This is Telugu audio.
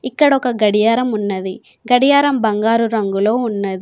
ఇక్కడ ఒక గడియారం ఉన్నది గడియారం బంగారు రంగులో ఉన్నది.